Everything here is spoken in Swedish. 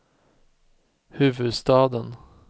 huvudstaden